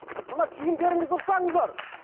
мына киімдеріңізді дұрыстаңыздар